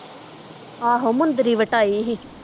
ਆਹੋ ਮੁੰਦਰੀ ਵਟਾਈ ਸੀ